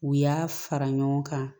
U y'a fara ɲɔgɔn kan